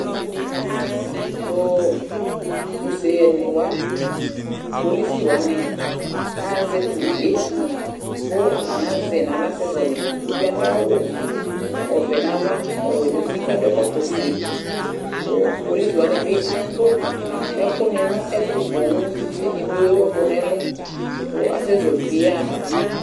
Tʋ useyɛnɩ wa, kpolisi wanɩ aɣa azɛ tʋ uvi yɛ kʋ atanɩ azɛ yɩ nʋ aɣla kasɛzɔɣɔlɩ Uvi yɛ adʋ awʋ ɔvɛ nʋ ava, ɔwɛ nʋ uti kʋ adʋ ɛkɔtɔ ofue kʋ kpolisi wanɩ bɩ atʋ ɛkʋnɩ nʋ ɛtʋ poo kʋ edigbo ewu ɛkʋ nʋ ɛlʋ kʋ asɛzɔɣɔlɩ uvi yɛ yaɣa fa